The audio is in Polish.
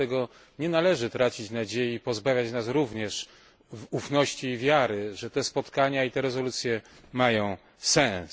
Dlatego nie należy tracić nadziei i pozbawiać nas również ufności i wiary w to, że te spotkania i rezolucje mają sens.